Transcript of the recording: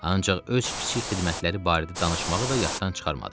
Ancaq öz kiçik xidmətləri barədə danışmağı da yaddan çıxarmadı.